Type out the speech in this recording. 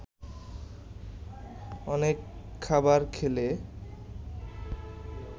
অনেক খাবার খেলে